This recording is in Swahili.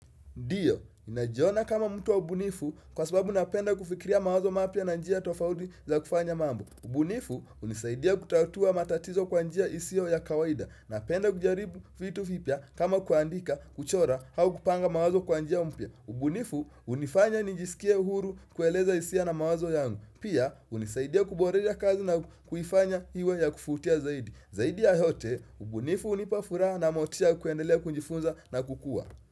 Ndiyo, najiona kama mtu wa ubunifu kwa sababu napenda kufikiria mawazo mapya na njia tofauti za kufanya mambo. Ubunifu, hunisaidia kutatua matatizo kwa njia isiyo ya kawaida. Napenda kujaribu vitu vipya kama kuandika, kuchora, au kupanga mawazo kwa njia mpya. Ubunifu, hunifanya nijisikie uhuru kueleza hisia na mawazo yangu. Pia, hunisaidia kuboresha kazi na kuifanya iwe ya kuvutia zaidi. Zaidi ya yote, ubunifu hunipa furaha na motisha ya kuendelea kujifunza na kukuwa.